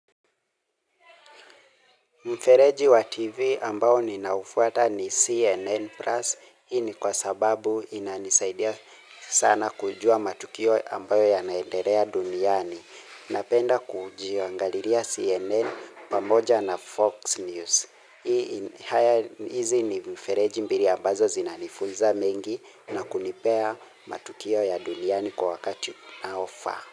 Mfereji wa TV ambao ninaufuata ni CNN Plus. Hii ni kwa sababu inanisaidia sana kujua matukio ambayo ya naendelea duniani. Napenda kujiangalilia CNN pamoja na Fox News. Hizi ni mifereji mbili ambazo zinanifunza mengi na kunipea matukio ya duniani kwa wakati unaofaa.